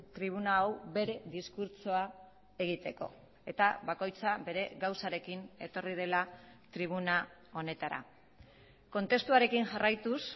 tribuna hau bere diskurtsoa egiteko eta bakoitza bere gauzarekin etorri dela tribuna honetara kontestuarekin jarraituz